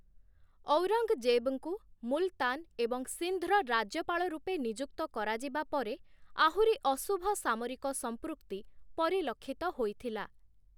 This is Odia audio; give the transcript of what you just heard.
ଔରଙ୍ଗଜେବ୍ ଙ୍କୁ ମୁଲତାନ ଏବଂ ସିନ୍ଧ୍ ର ରାଜ୍ୟପାଳ ରୂପେ ନିଯୁକ୍ତ କରାଯିବା ପରେ, ଆହୁରି ଅଶୁଭ ସାମରିକ ସଂପୃକ୍ତି ପରିଲକ୍ଷିତ ହୋଇଥିଲା ।